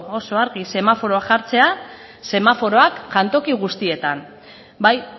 oso argi semaforoak jartzea semaforoak jantoki guztietan bai